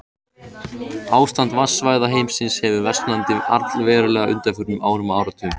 Ástand vatnasvæða heimsins hefur versnað allverulega á undanförnum árum og áratugum.